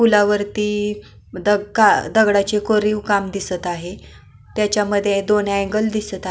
पुलावरती दगा दगडाचे कोरीव काम दिसत आहे त्याच्यामध्ये दोन अँगल दिसत आहे.